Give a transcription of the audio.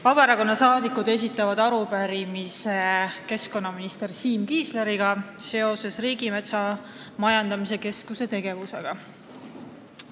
Vabaerakonna saadikud esitavad keskkonnaminister Siim Kiislerile arupärimise Riigimetsa Majandamise Keskuse tegevuse kohta.